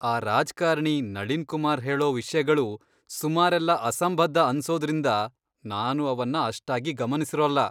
ಆ ರಾಜ್ಕಾರ್ಣಿ ನಳಿನ್ ಕುಮಾರ್ ಹೇಳೋ ವಿಷ್ಯಗಳು ಸುಮಾರೆಲ್ಲ ಅಸಂಬದ್ಧ ಅನ್ಸೋದ್ರಿಂದ ನಾನು ಅವನ್ನ ಅಷ್ಟಾಗಿ ಗಮನಿಸಿರೋಲ್ಲ.